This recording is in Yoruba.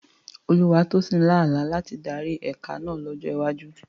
Olúwatósìn lá àlá láti darí ẹ̀ka náà lọ́jọ́ iwájú.